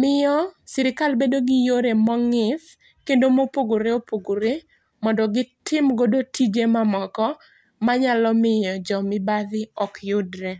miyo sirkal bedo gi yore mongith kendo mopogore opogore mondo gitim godo tije mamoko manyalo miyo jo mibadhi ok yudre